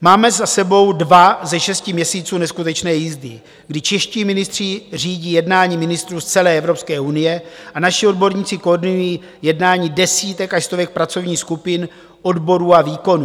Máme za sebou dva ze šesti měsíců neskutečné jízdy, kdy čeští ministři řídí jednání ministrů z celé Evropské unie a naši odborníci koordinují jednání desítek až stovek pracovních skupin, odborů a výkonů.